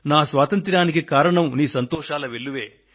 నా స్వాతంత్ర్యానికి కారణం నువ్వు అక్కడ ఉండడమే